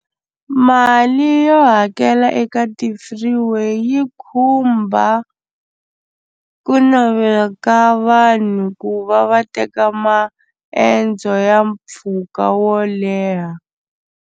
Mali yo hakela eka ti-freeway yi khumba ku navela ka vanhu ku va va teka maendzo ya mpfhuka wo leha.